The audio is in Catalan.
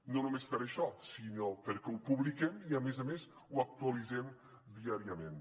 no només per això sinó perquè ho publiquem i a més a més ho actualitzem diàriament